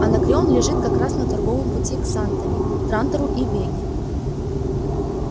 анакреон лежит как раз на торговом пути к сантани трантору и веге